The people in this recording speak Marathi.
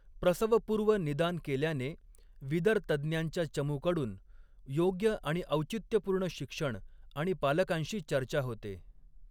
प्रसवपूर्व निदान केल्याने विदर तज्ञांच्या चमूकडून योग्य आणि औचित्यपूर्ण शिक्षण आणि पालकांशी चर्चा होते.